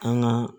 An ka